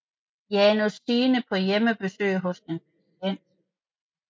Janus Signe på hjemmebesøg hos en patient